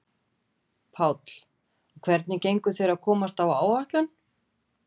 Páll: Og hvernig gengur þér að komast á áætlun?